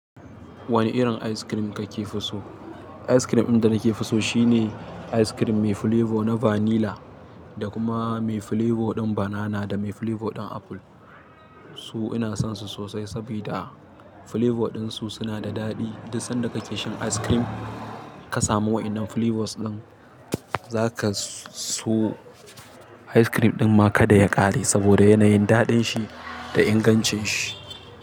Wane irin ice cream kake so? Ice cream ɗin da nake so shine ice cream mai flavour na vanilla, da kuma mai flavour ɗin banana da mai flavour ɗin apple. Su ina son su sosai saboda flavour ɗin su suna da daɗi. Duk sanda kake shan ice cream ka samu waɗannan flavours ɗin, za ka so ice cream ɗin ma kada ya ƙare saboda yanayin daɗin shi da ingancin shi.